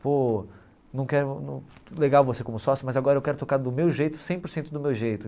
Pô não quero, legal você como sócio, mas agora eu quero tocar do meu jeito, cem por cento do meu jeito.